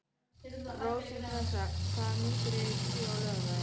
Rósinkransa, hvaða myndir eru í bíó á laugardaginn?